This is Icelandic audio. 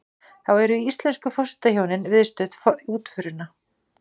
Þá eru íslensku forsetahjónin viðstödd útförina